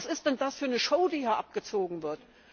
Was ist denn das für eine Show die hier abgezogen wird?